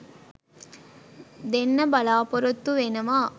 දෙන්න බලාපොරොත්තු වෙනවා.